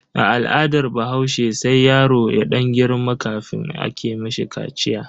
A al'adar bahaushe sai yaro ya dan girma kafin ake mishi kaciya.